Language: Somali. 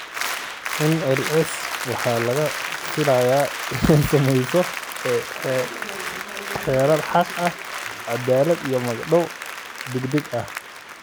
NLC waxa laga filayaa inay samayso xeerar xaq, cadaalad iyo magdhow degdeg ah.